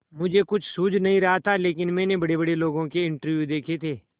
मुझे कुछ सूझ नहीं रहा था लेकिन मैंने बड़ेबड़े लोगों के इंटरव्यू देखे थे